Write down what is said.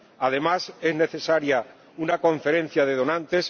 Además, es necesaria una conferencia de donantes.